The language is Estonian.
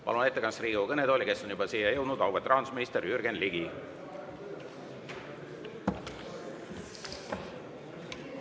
Palun ettekandeks Riigikogu kõnetooli auväärt rahandusministri Jürgen Ligi, kes ongi juba siia jõudnud.